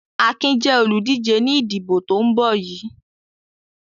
Akin jẹ́ olùdíje ní ìdìbò tó ń bọ̀ yìí.